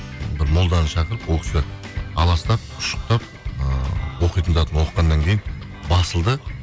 бір молданы шақырып ол кісі аластап ұшықтап ыыы оқитын затын оқығаннан кейін басылды